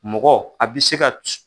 Mɔgɔ a bi se ka